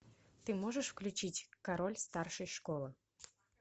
ты можешь включить король старшей школы